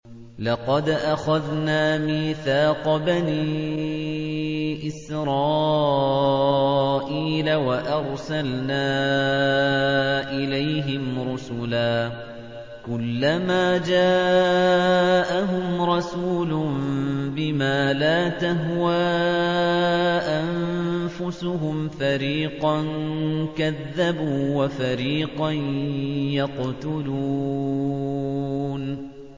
لَقَدْ أَخَذْنَا مِيثَاقَ بَنِي إِسْرَائِيلَ وَأَرْسَلْنَا إِلَيْهِمْ رُسُلًا ۖ كُلَّمَا جَاءَهُمْ رَسُولٌ بِمَا لَا تَهْوَىٰ أَنفُسُهُمْ فَرِيقًا كَذَّبُوا وَفَرِيقًا يَقْتُلُونَ